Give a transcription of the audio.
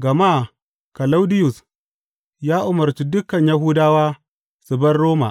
gama Kalaudiyus ya umarci dukan Yahudawa su bar Roma.